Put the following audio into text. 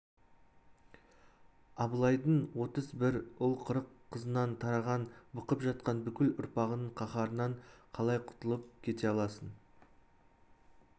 абылайдың отыз бір ұл қырық қызынан тараған бықып жатқан бүкіл ұрпағының қаһарынан қалай құтылып кете аласың